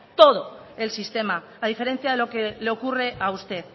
todo el sistema a diferencia de lo que le ocurre a usted